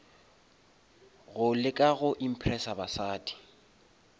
go leka go impressa basadi